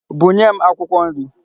Bunye m akwụkwọ nri.